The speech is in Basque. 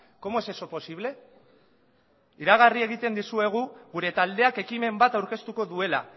cómo es eso posible iragarri egiten dizuegu gure taldeak ekimen bat aurkeztuko duela